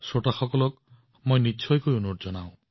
আপোনালোকে বহু কথা শিকিব পাৰিব